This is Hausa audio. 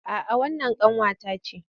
A'a wannan ƙanwa ta ce